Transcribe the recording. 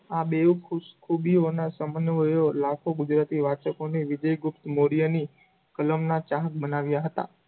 આ બેવ ખૂ~ખૂબીઓનાં સમન્વયો લાખો ગુજરાતી વાંચકોને વિજય ગુપ્ત મોર્યની કલમનાં ચાહક બનાવ્યાં હતાં.